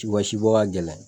Ci u ka si bɔ ka gɛlɛn.